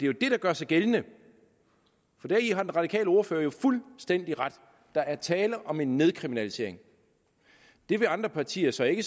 jo det der gør sig gældende deri har den radikale ordfører fuldstændig ret der er tale om en nedkriminalisering det vil andre partier så ikke